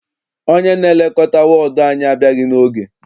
Onye na-elekọta wọọdụ anyị abịaghị n'oge.